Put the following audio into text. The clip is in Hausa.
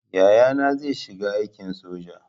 Yayana zai shiga aikin soja